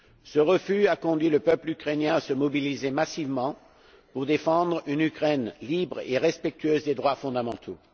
Ce refus a conduit le peuple ukrainien à se mobiliser massivement pour défendre une Ukraine libre et respectueuse des droits fondamentaux.